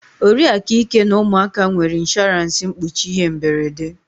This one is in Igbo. Oriakụ Ike na ụmụaka nwere ịnshọransị mkpuchi ihe mberede